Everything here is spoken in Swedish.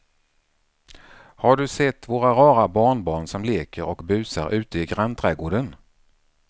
Har du sett våra rara barnbarn som leker och busar ute i grannträdgården!